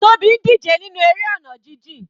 Tobi ń díje nínú eré ọ̀nà jijìn.